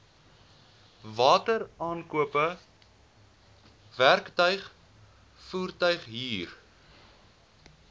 wateraankope werktuig voertuighuur